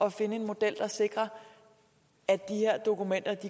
at finde en model der sikrer at de her dokumenter